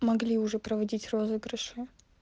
могли уже проводить розыгрыши